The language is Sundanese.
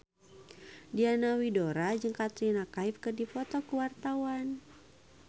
Diana Widoera jeung Katrina Kaif keur dipoto ku wartawan